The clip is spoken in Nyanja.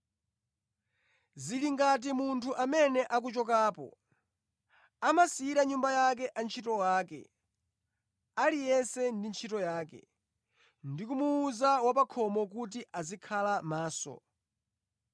Zili ngati munthu amene akuchokapo. Amasiyira nyumba yake antchito ake, aliyense ndi ntchito yake; ndi kumuwuza wa pa khomo kuti azikhala maso.